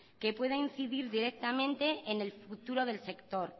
que pueda incidir directamente en el futuro del sector